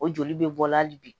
O joli bɛ bɔ hali bi